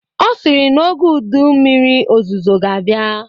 Ọ sịrị na oge ụdị mmiri ozuzo ga-abịa